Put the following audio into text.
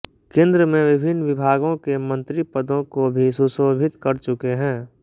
केंद्र में विभिन्न विभागों के मंत्री पदों को भी सुशोभित कर चुके है